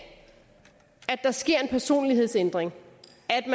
der sker en personlighedsændring